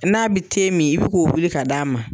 N'a bɛ te min i bɛ k'o wuli ka d'a ma.